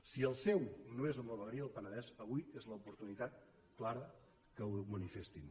si el seu no és amb la vegueria del penedès avui és l’oportunitat clara perquè ho manifestin